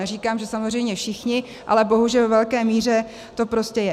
Neříkám, že samozřejmě všichni, ale bohužel ve velké míře to tak je.